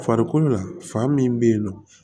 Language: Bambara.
Farikolo la fa min bɛ yen nɔ